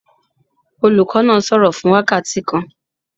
Olùkọ́ náà sọ̀rọ̀ fún wákàtí kan.